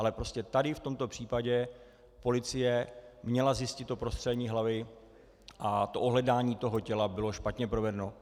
Ale prostě tady v tomto případě policie měla zjistit to prostřelení hlavy a to ohledání toho těla bylo špatně provedeno.